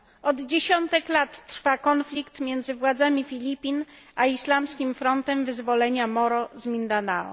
Od dziesiątek lat trwa konflikt między władzami Filipin a islamskim frontem wyzwolenia Moro z Mindanao.